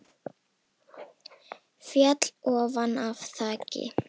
Féll ofan af þaki